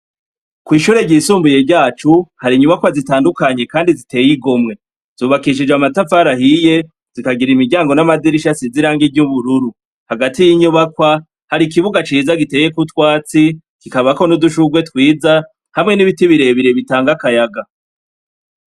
Kw’ishure ryisumbuye ryacu hari inyubakwa zitandukanye kandi ziteye igomwe. Zubakishijwe amatafari ahiye zikagira imiryango n’amadirisha asize irangi ry’ubururu. Hagati y’inyubakwa hari ikibuga ciza giteyeko itwatsi, kikabako n’udushurwe twiza hamwe n’ibiti bire bire bitanga akayaga.